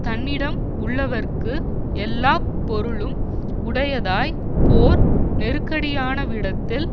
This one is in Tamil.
தன்னிடம் உள்ளவர்க்கு எல்லா பொருளும் உடையதாய் போர் நெருக்கடியானவிடத்தில்